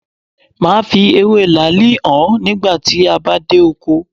Máa fi ewé làálì hàn ọ nígbà tí a bá dé oko.